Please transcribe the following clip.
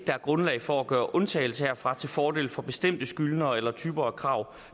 er grundlag for at gøre undtagelse herfra til fordel for bestemte skyldnere eller typer af krav